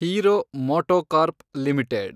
hero MotoCorp limited